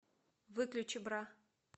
выключи бра